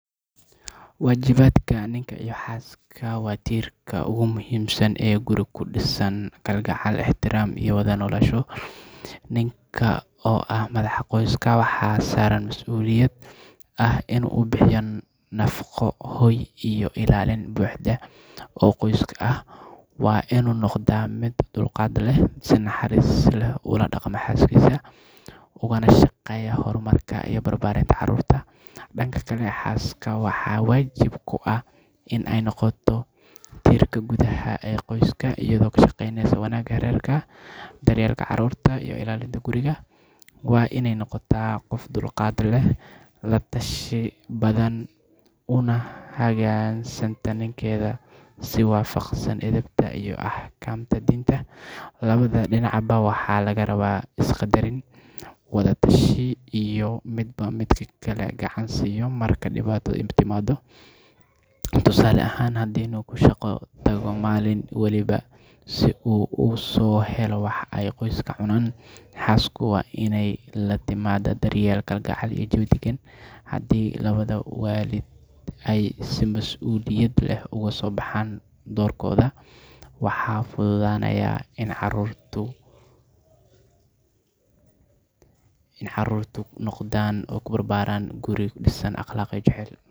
Waajibaadka ninka iyo xaaska waa tiirarka ugu muhiimsan ee guri ku dhisan kalgacal, ixtiraam, iyo wada noolaansho. Ninka, oo ah madaxda qoyska, waxaa saaran mas’uuliyad ah in uu bixiyo nafqo, hoy, iyo ilaalin buuxda oo qoyskiisa ah. Waa inuu noqdaa mid dulqaad leh, si naxariis leh ula dhaqma xaaskiisa, ugana shaqeeya horumarka iyo barbaarinta carruurta. Dhanka kale, xaaska waxaa waajib ku ah in ay noqoto tiirka gudaha ee qoyska, iyadoo ka shaqeysa wanaagga reerka, daryeelka carruurta, iyo ilaalinta guriga. Waa iney noqotaa qof dulqaad leh, la tashi badan, una hogaansanta ninkeeda si waafaqsan edebta iyo axkaamta diinta. Labada dhinacba waxaa laga rabaa is-qadarin, wada tashi, iyo in midba midka kale gacan siiyo marka dhibaato timaado. Tusaale ahaan, haddii ninku shaqo tago maalin walba si uu u soo helo wax ay qoyska cunaan, xaasku waa iney la timaadaa daryeel, kalgacal, iyo jawi deggan. Haddii labada waalid ay si mas’uuliyad leh uga soo baxaan doorkooda, waxaa fududaanaya in carruurtu ku barbaarto guri ku dhisan akhlaaq iyo jacayl.